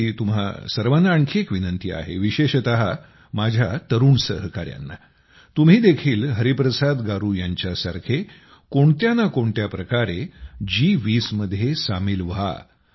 माझी तुम्हा सर्वांना आणखी एक विनंती आहे विशेषत माझ्या तरुण सहकायांना तुम्ही देखील हरिप्रसाद गारू यांच्यासारखे कोणत्या ना कोणत्या प्रकारे जी20 मध्ये सामील व्हा